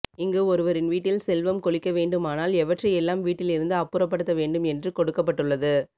இங்கு ஒருவரின் வீட்டில் செல்வம் கொழிக்க வேண்டுமானால் எவற்றையெல்லாம் வீட்டில் இருந்து அப்புறப்படுத்த வேண்டும் என்று கொடுக்கப்பட்டுள்ளது